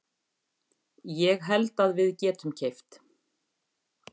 Ég held að við getum keypt.